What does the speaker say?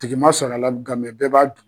Tigi ma sɔr'a la ga b'a